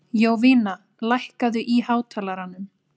Jovina, lækkaðu í hátalaranum.